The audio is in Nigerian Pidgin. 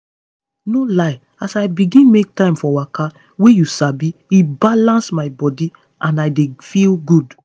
no lie as i begin make time for waka wey you sabi e balance my body and i dey feel good.